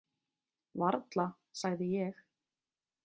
Varla, sagði ég.